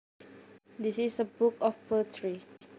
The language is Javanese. This is a book of poetry